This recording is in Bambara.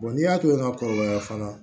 n'i y'a to yen n kɔrɔbaya fana